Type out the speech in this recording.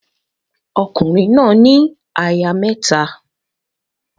Ọkùnrin náà ní aya mẹ́ta.